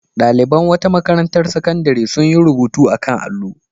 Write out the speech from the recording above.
Ɗaliban wata makarantar sakandare sun yi rubutu a kan allo.